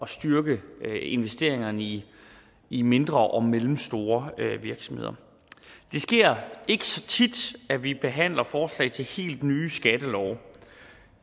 styrke investeringerne i i mindre og mellemstore virksomheder det sker ikke så tit at vi behandler forslag til helt nye skattelove